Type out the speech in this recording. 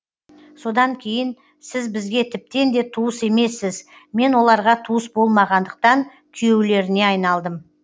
содан кейін сіз бізге тіптен де туыс емессіз мен оларға туыс болмағандықтан күйеулеріне айналдым